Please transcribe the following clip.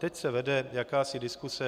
Teď se vede jakási diskuse.